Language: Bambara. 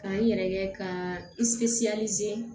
Ka n yɛrɛ ka